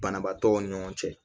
Banabaatɔw ni ɲɔgɔn cɛ